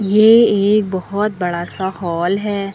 ये एक बहोत बड़ा सा हॉल है।